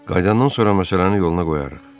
Qayıdandan sonra məsələni yoluna qoyarıq.